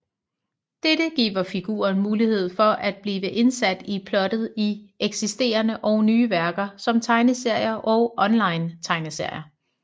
Dette giver figuren mulighed for at blive indsat i plottet i eksisterende og nye værker som tegneserier og onlinetegneserier